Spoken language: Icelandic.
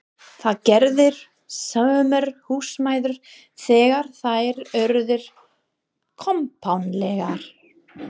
Það gerðu sumar húsmæður þegar þær urðu kompánlegar.